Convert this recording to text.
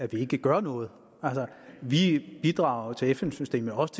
at vi ikke gør noget vi bidrager til fn systemet også